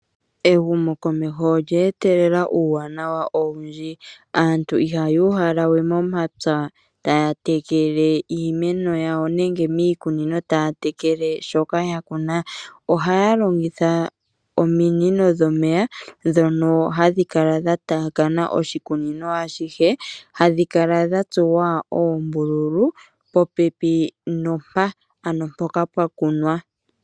Ehumokomeho olya etelela uuwanawa owundji. Aantu ihaya uhala we momapya taya tekele iimeno yawo nenge miikunino taya tekele shoka ya kuna, ohaya longitha ominino dhomeya ndhono hadhi kala dha taakana oshikunino ashihe, hadhi kala dha tsuwa oombululu popepi nompa, ano mpoka pwa kunwa.